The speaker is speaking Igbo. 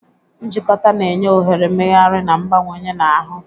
Njikọta na-enye ohere mmegharị na mgbanwe na ahụ.